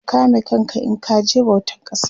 ka kame kanka in kaje bautan kasa